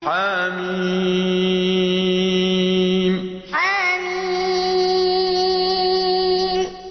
حم حم